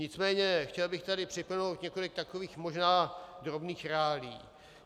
Nicméně chtěl bych tady připomenout několik takových možná drobných reálií.